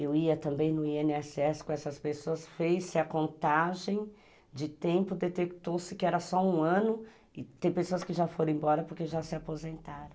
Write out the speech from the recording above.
Eu ia também no i ene esse esse com essas pessoas, fez-se a contagem de tempo, detectou-se que era só um ano e tem pessoas que já foram embora porque já se aposentaram.